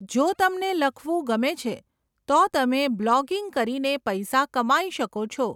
જો તમને લખવું ગમે છે, તો તમે બ્લોગિંગ કરીને પૈસા કમાઈ શકો છો.